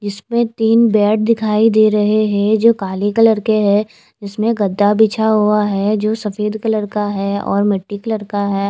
इस में तीन बेड दिखाई दे रहे हैं जो काले कलर के हैं इसमें गद्दा बिछा हुआ है जो सफेद कलर का है और मिट्टी कलर का है।